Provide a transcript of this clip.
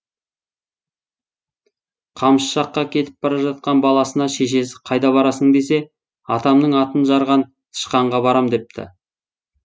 қамыс жаққа кетіп бара жатқан баласына шешесі қайда барасың десе атамның атын жарған тышқанға барам депті